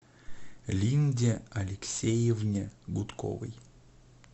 линде алексеевне гудковой